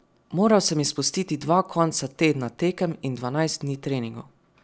Moral sam izpustiti dva konca tedna tekem in dvanajst dni treningov.